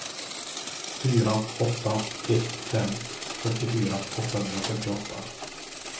fyra åtta ett fem fyrtiofyra åttahundrafyrtioåtta